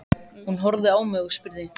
Hún horfði á mig og spurði